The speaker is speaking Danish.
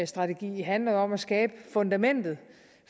strategi handler jo om at skabe fundamentet